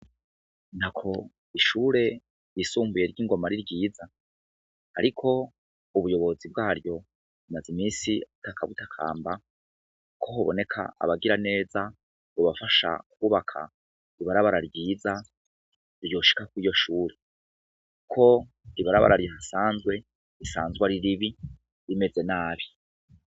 Ntako ishure ryisumbuye ry'ingoma ariryiza ariko ubuyobozi bwaryo bumaze iminsi butaka butakamba kohoboneka abagiraneza bobafasha kwubaka ibarabara ryiza ryoshika kuriryo shure kuko ibarabara rihasanzwe risanzwe ariribi rimeze nabi.